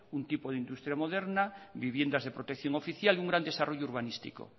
un tipo de industria moderna viviendas de protección oficial y un gran desarrollo urbanístico